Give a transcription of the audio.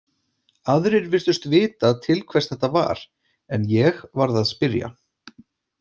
Aðrir virtust vita til hvers þetta var, en ég varð að spyrja.